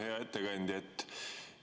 Hea ettekandja!